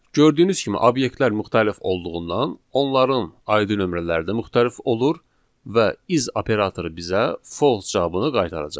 Gördüyünüz kimi obyektlər müxtəlif olduğundan onların ID nömrələri də müxtəlif olur və is operatoru bizə false cavabını qaytaracaq.